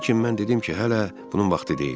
Lakin mən dedim ki, hələ bunun vaxtı deyil.